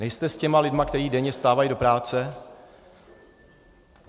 Nejste s těmi lidmi, kteří denně vstávají do práce.